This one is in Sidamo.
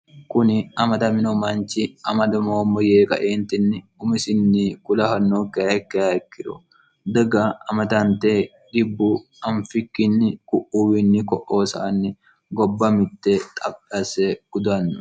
kuni amadamino manchi amadamoommo yee qaeentinni umisinni kulahannookkaekkeha ikkiro diga amadante dhibbu anfikkinni ku'uwiinni ko'oosaanni gobba mitte xaphasse gudanno